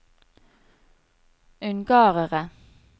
ungarere